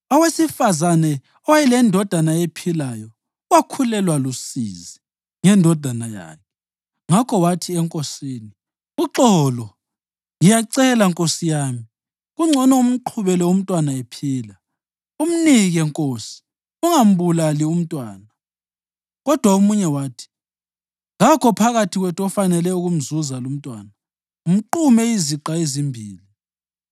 Owesifazane owayelendodana ephilayo wakhulelwa lusizi ngendodana yakhe ngakho wathi enkosini, “Uxolo, ngiyacela nkosi yami, kungcono umqhubele umntwana ephila, umnike nkosi! Ungambulali umntwana.” Kodwa omunye wathi, “Kakho phakathi kwethu ofanele ukumzuza lumntwana, mqume iziqa ezimbili!”